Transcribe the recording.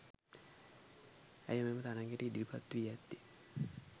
ඇය මෙම තරගයට ඉදිරිපත්වී ඇත්තේ